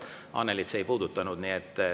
Ent nagu ma sain aru, et Annelyd see ei puudutanud.